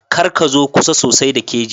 Kar ka zo kusa sosai da keji